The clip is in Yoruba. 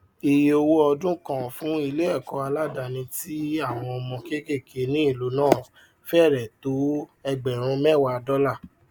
ìye owó ọdún kan fún ileẹkọ aládàní tí àwọn ọmọ kékèéké ní ìlú náà fẹrẹ tó ẹgbẹrún mẹwàá dọlà